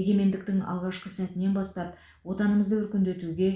егемендіктің алғашқы сәтінен бастап отанымызды өркендетуге